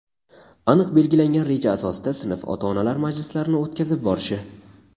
aniq belgilangan reja asosida sinf ota-onalar majlislarini o‘tkazib borishi;.